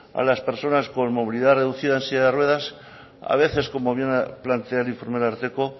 a las personas con movilidad reducida en silla de ruedas a veces como viene a plantear el informe del ararteko